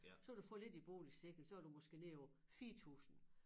Så kan du få lidt i boligsikring så du måske nede på 4000